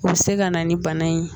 U se ka na ni bana in ye